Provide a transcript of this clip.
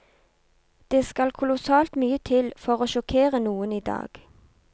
Det skal kolossalt mye til for å sjokkere noen i dag.